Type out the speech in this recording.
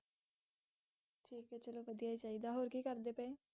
ਠੀਕ ਏ ਚਲੋ ਵਧੀਆ ਈ ਚਾਹੀਦਾ ਹੋਰ ਕੀ ਕਰਦੇ ਪਏ?